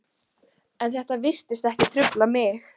En þetta virtist ekki trufla mig.